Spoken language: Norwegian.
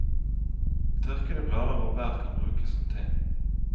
Tørkede blad og bær kan brukes som te.